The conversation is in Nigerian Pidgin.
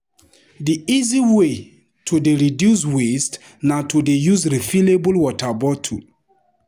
Di easy way to dey reduce waste na to dey use refillable water bottle.